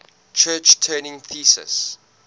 church turing thesis